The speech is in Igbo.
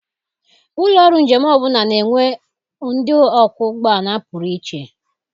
Ụlọ ọrụ njem ọbụla na-enwe ndị ọkwọ ụgbọala pụrụ iche.